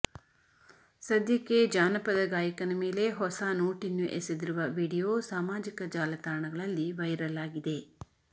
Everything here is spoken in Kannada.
ಸದ್ಯಕ್ಕೆ ಜಾನಪದ ಗಾಯಕನ ಮೇಲೆ ಹೊಸ ನೋಟಿನ್ನು ಎಸೆದಿರುವ ವಿಡಿಯೋ ಸಾಮಾಜಿಕ ಜಾಲತಾಣಗಳಲ್ಲಿ ವೈರಲ್ ಆಗಿದೆ